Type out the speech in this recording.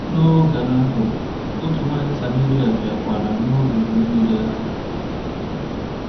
N’oge ahụ, otu nwanyị Samaria bịakwara n’olulu mmiri ahụ.